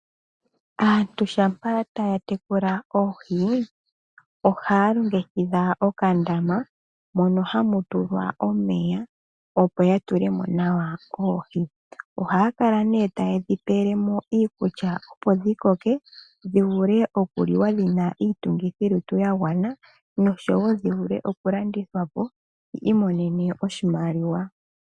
Aantu shampa taya tekula oohi ohaya longekidha okandama, mono hamu tulwa omeya opo ya tule mo nawa oohi. Ohaya kala nee ta yedhi pele mo iikulya, opo dhi koke, dhi vule oku liwa dhina iitungithilutu ya gwana, noshowo dhi vule oku landithwa po, yi imonene oshimaliwa.